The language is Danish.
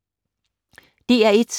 DR1